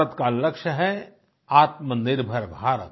भारत का लक्ष्य है आत्मनिर्भर भारत